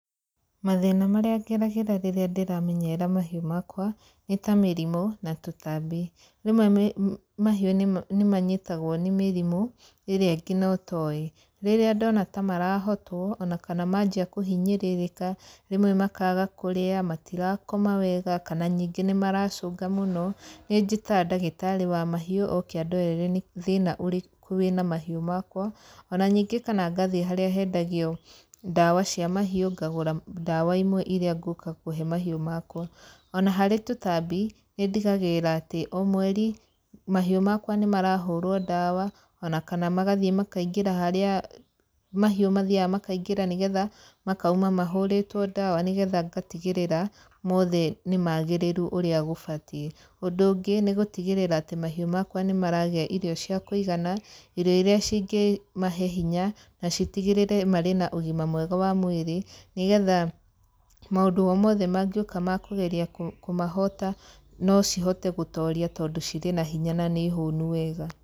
Mathĩna marĩa ngeragĩra rĩrĩa ndĩramenyerera mahĩu makwa nĩ ta mĩrimũ na tũtambi. Rĩmwe mahiũ nĩ manyitagwo nĩ mĩrimũ ĩrĩa nginya ũtowĩ. Rĩria ndona ta marahotwo, manjia kũhinyĩrĩrĩka rĩmwe makaga kũrĩa, matirakoma wega kana nĩ maracũnga mũno, nĩnjĩtaga ndagĩtarĩ wa mahiũ oke andorere nĩ thĩna ũrĩku wĩ na mahiũ makwa, o na ningĩ kana ngathiĩ harĩa hendagio ndawa cia mahiũ ngagũra ndawa imwe irĩa ngũka kũhe mahiũ makwa. O na harĩ tũtambi nĩ ndigagĩrĩra atĩ o mweri mahiũ makwa nĩ marahũrwo ndawa o kana magathiĩ makaingĩra harĩa mahiũ mathiyaga makaingĩra nĩgetha makauma mahũritwo ndawa nĩgetha ngatigĩrĩra mothe nĩ magĩrĩru ũrĩa gũbatiĩ. Ũndũ ũngĩ nĩ gũtigĩrĩra atĩ mahiũ makwa nĩmaragĩa irio cia kũigana, irio irĩa cingĩmahe hinya na citigĩrĩre marĩ na ũgima mwega wa mũĩrĩ nĩgetha maũndũ o mothe magĩũka makũgeria kũmahota no cihote gũtoria tondũ cirĩ na hinya na nĩhũnu wega.